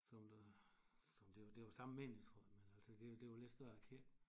Som der som det det var samme menighedsråd men altså det det var lidt større kirke